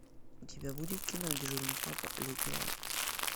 у тебя будет кино дежурный папа летний лагерь